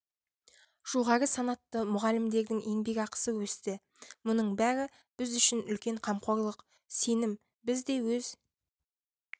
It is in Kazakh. жоғары санатты мұғалімдердің еңбекақысы өсті мұның бәрі біз үшін үлкен қамқорлық сенім біз де өз